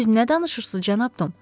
Siz nə danışırsız, cənab Tom?